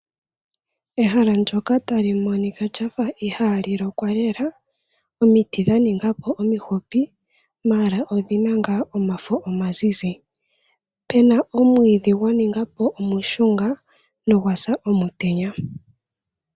Ehala ndyoka tali monika lyafa ihali lokwa lela omiti dha ninga po omifupi mala odhina nga omafo omazizi, puna omwiidhi gwa ninga po omushunga nogwa sa omutenya.